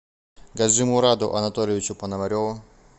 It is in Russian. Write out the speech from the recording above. гаджимураду анатольевичу пономареву